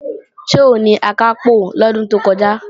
Ṣé òun ni Akápò lọ́dún tó kọjá?